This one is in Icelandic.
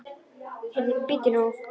Heyrðu, bíddu nú.